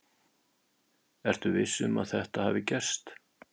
Ertu viss um að þetta hafi gerst?